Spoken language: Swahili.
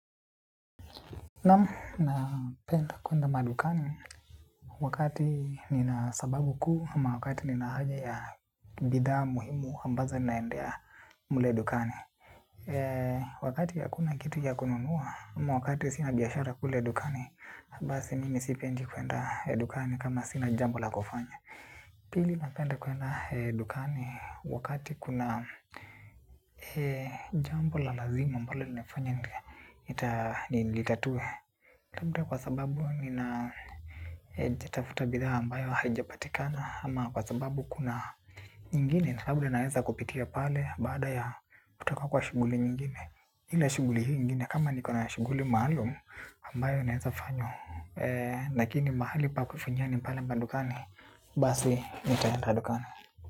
Naam, napenda kwenda madukani wakati nina sababu kuu ama wakati nina haja ya bidhaa muhimu ambazo ninaendea mle dukani. Wakati hakuna kitu ya kununuwa ama wakati sina biashara kule dukani basi mimi sipendi kwenda dukani kama sina jambo la kufanya. Pili, napenda kwenda dukani wakati kuna jambo la lazima ambalo linafanya nilitatue. Labda kwa sababu nina tafuta bidhaa ambayo haijapatikana ama kwa sababu kuna nyingine. Labda naweza kupitia pale baada ya kutoka kwa shughuli nyingine ile shughuli nyingine kama nikona shughuli maalum ambayo naweza fanya lakini mahali pa kufanyia ni pale madukani, basi nitaenda dukani.